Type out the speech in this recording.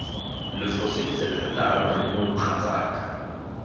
lo foseditse thata ramarumo mogatsaka